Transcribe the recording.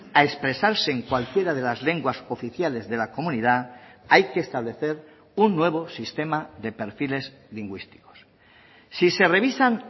a expresarse en cualquiera de las lenguas oficiales de la comunidad hay que establecer un nuevo sistema de perfiles lingüísticos si se revisan